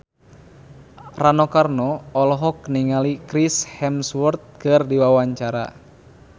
Rano Karno olohok ningali Chris Hemsworth keur diwawancara